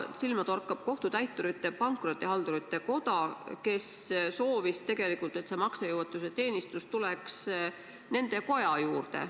Silma torkab, et Kohtutäiturite ja Pankrotihaldurite Koda soovis tegelikult, et see maksejõuetuse teenistus tuleks nende koja juurde.